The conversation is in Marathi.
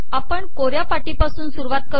आपण कोऱया पाटीपासून सुरवात कर